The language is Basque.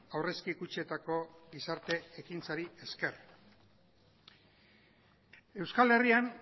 aurrezki kutxetako gizarte ekintzari esker euskal herrian